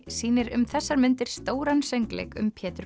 sýnir um þessar mundir stóran söngleik um Pétur